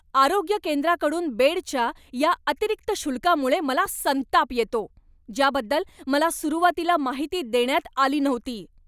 आरोग्य केंद्राकडून बेडच्या या अतिरिक्त शुल्कामुळे मला संताप येतो, ज्याबद्दल मला सुरुवातीला माहिती देण्यात आली नव्हती.